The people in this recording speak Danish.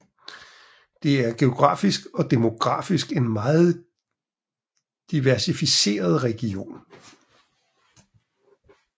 Det er geografisk og demografisk en meget diversificeret region